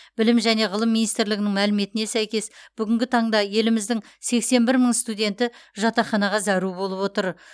білім және ғылым министрлігінің мәліметіне сәйкес бүгінгі таңда еліміздің сексен бір мың студенті жатақханаға зәру болып отыр